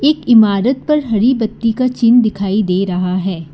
एक इमारत पर हरी बत्ती का चिन्ह दिखाई दे रहा है।